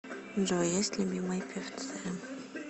джой есть любимые певцы